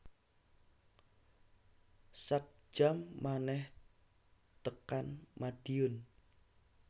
Sak jam meneh tekan Madiun